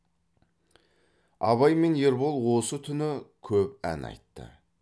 абай мен ербол осы түні көп ән айтты